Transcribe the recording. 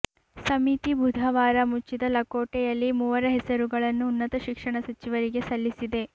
ಸಮಿತಿ ಬುಧವಾರ ಮುಚ್ಚಿದ ಲಕೋಟೆಯಲ್ಲಿ ಮೂವರ ಹೆಸರುಗಳನ್ನು ಉನ್ನತ ಶಿಕ್ಷಣ ಸಚಿವರಿಗೆ ಸಲ್ಲಿಸಿದೆ